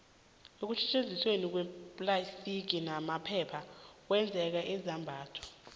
ukusetjenziswa kweemplastiki namaphepha ukwenza izambatho